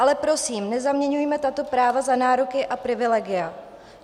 Ale prosím, nezaměňujme tato práva za nároky a privilegia.